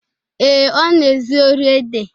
Ee, Ọ na-ezu ori ede.